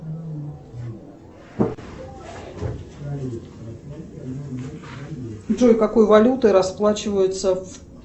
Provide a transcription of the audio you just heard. джой какой валютой расплачиваются